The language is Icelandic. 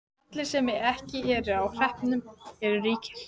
Allir sem ekki eru á hreppnum eru ríkir.